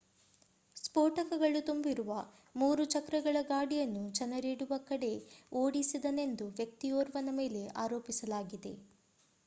ಸ್ಫೋಟಕಗಳು ತುಂಬಿರುವ ಮೂರು ಚಕ್ರಗಳ ಗಾಡಿಯನ್ನು ಜನರಿರುವ ಕಡೆ ಓಡಿಸಿದನೆಂದು ವ್ಯಕ್ತಿಯೋರ್ವನ ಮೇಲೆ ಆರೋಪಿಸಲಾಗಿದೆ